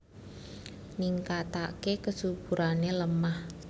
Ningkataké kesuburané lemah